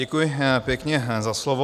Děkuji pěkně za slovo.